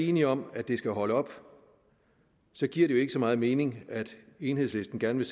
enige om at det skal holde op så giver det jo ikke så meget mening at enhedslisten gerne